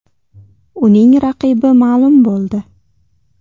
Uning raqibi ma’lum bo‘ldi.